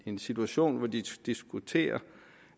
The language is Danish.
en situation hvor vi diskuterer